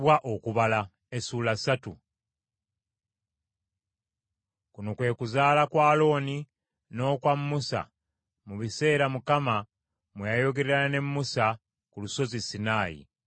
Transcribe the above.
Luno lwe lulyo lwa Alooni n’olwa Musa mu biseera Mukama mwe yayogerera ne Musa ku Lusozi Sinaayi.